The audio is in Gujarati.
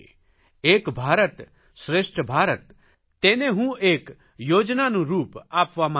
એક ભારત શ્રેષ્ઠ ભારત તેને હું એક યોજનાનું રૂપ દેવા માંગુ છું